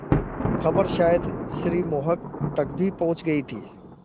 खबर शायद श्री मोहन तक भी पहुँच गई थी